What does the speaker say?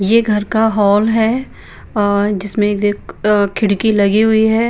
ये घर का हॉल है अअ जिसमें देख अ खिड़की लगी हुई है।